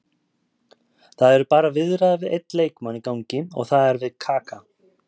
Það eru bara viðræður við einn leikmann í gangi og það er við Kaka.